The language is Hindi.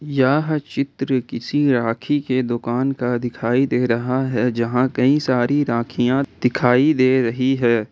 यह चित्र किसी राखी के दुकान का दिखाई दे रहा है जहां कहीं सारी राखियां दिखाई दे रही है।